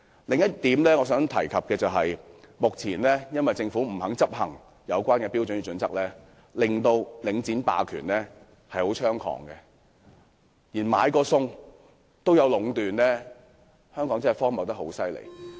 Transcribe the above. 此外，我想指出，由於政府不肯執行有關的《規劃標準》，令領展霸權十分猖獗，連買菜也會出現壟斷，香港的情況真是相當荒謬。